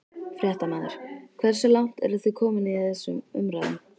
Fréttamaður: Hversu langt eru þið komin í þessum umræðum?